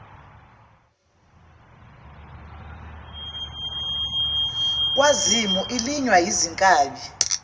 kwazimu elinywa yizinkabi